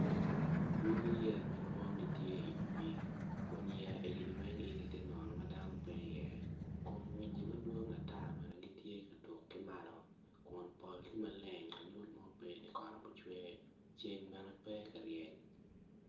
Lwaki yeya madwong tye wi pii kun yeya egini weng igi tye nono ma dano pe iye kun winyimadwong ata bene gitye ka tuk ki malo kun pol tye maleng lanyut mo pe ni kot obicwe ceng bene pe ka ryeny.